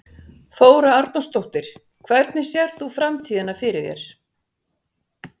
Þóra Arnórsdóttir: Hvernig sérð þú framtíðina fyrir þér?